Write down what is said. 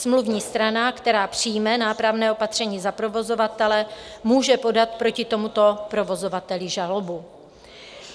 Smluvní strana, která přijme nápravné opatření za provozovatele, může podat proti tomuto provozovateli žalobu.